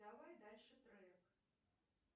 давай дальше трек